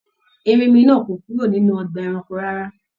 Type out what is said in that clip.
Erinmi náà kò kúrò nínú ọgbà ẹranko rárá.